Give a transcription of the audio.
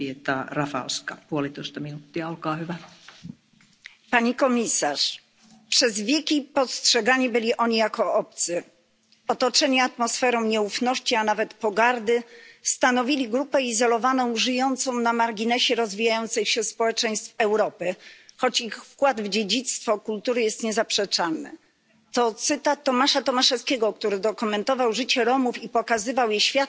Pani Przewodnicząca! Pani komisarz! Przez wieki postrzegani byli oni jako obcy. Otoczeni atmosferą nieufności, a nawet pogardy, stanowili grupę izolowaną, żyjącą na marginesie rozwijających się społeczeństw Europy, choć ich wkład w dziedzictwo kultury jest niezaprzeczalny to cytat z Tomasza Tomaszewskiego, który dokumentował życie Romów i pokazywał je światu,